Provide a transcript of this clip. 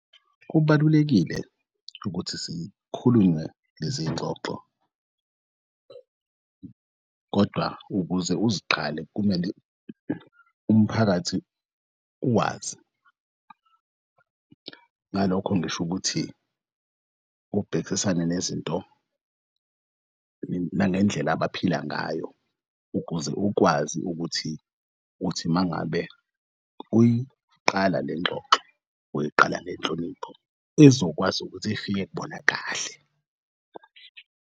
Kubalulekile ukuthi zikhulunywe leziy'ngxoxo kodwa ukuze uziqale kumele umphakathi uwazi, ngalokho ngisho ukuthi ubhekisisane nezinto nangendlela abaphila ngayo ukuze ukwazi ukuthi uthimangabe uyiqala lengxoxo uyiqala ngenhlonipho ezokwazi ukuthi ifike kubona kahle.